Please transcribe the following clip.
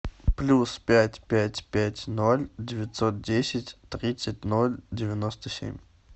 плюс пять пять пять ноль девятьсот десять тридцать ноль девяносто семь